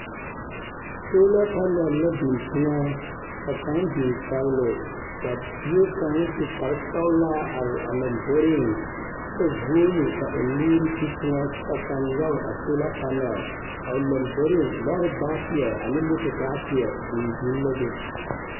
Sola panɛl la biŋ teŋɛ ka kaŋ biŋ kpɛgele ka bie kaŋa su kpare sɛgelaa are a lomboriŋ kyɛ vũũni ka o nuuri ti teŋɛ kyɛ ka nyɔge a sola panɛl lamboriŋ. Lɔɔre baateɛ ane moto baateɛ biŋ biŋ la be.